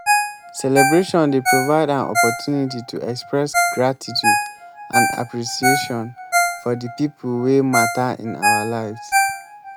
celebration dey provide an opportunity to express gratitude and appreciation for di people wey mata in our lives.